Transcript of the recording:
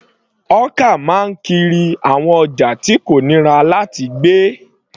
Hawker máa ń kiri àwọn ọjà tí kò nira láti gbé.